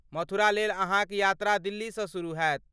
मथुरा लेल अहाँक यात्रा दिल्लीसँ शुरू हैत।